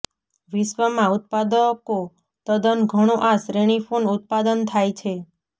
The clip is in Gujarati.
વિશ્વમાં ઉત્પાદકો તદ્દન ઘણો આ શ્રેણી ફોન ઉત્પાદન થાય છે